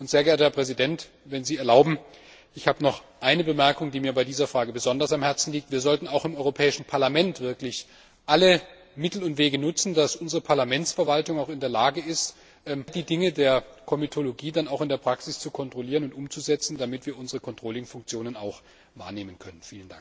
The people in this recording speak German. Sehr geehrter Herr Präsident, wenn Sie erlauben, ich habe noch eine Bemerkung, die mir bei dieser Frage besonders am Herzen liegt Wir sollten auch im Europäischen Parlament wirklich alle Mittel und Wege nutzen, dass unsere Parlamentsverwaltung auch in der Lage ist, all die Dinge der Komitologie dann auch in der Praxis zu kontrollieren und umzusetzen, damit wir unsere Kontrollfunktionen auch wahrnehmen können.